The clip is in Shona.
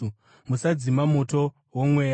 Musadzima moto woMweya;